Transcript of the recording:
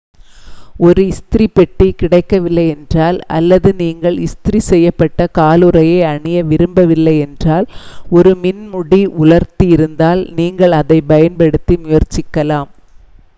ஒரு இஸ்திரி பெட்டி கிடைக்கவில்லை என்றால் அல்லது நீங்கள் இஸ்திரி செய்யப்பட்ட காலுறையை அணிய விரும்பவில்லை என்றால் ஒரு மின் முடி உலர்த்தி இருந்தால் நீங்கள் அதைப் பயன்படுத்தி முயற்சிக்கலாம்